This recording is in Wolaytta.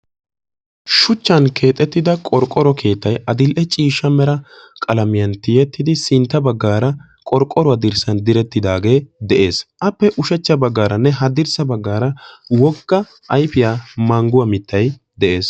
Shuchchan keexettida qorqoro keettay addl"e ciishsha mera qalamiyan tiyettidi sintta baggaara qorqqoruwaa dirssan direttidaage de'ees. Appe ushachcha baggaaranne haddirssa baggaara wogga ayifiyaa mangguwaa mittay de'ees.